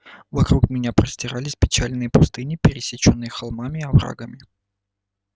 вокруг меня простирались печальные пустыни пересечённые холмами и оврагами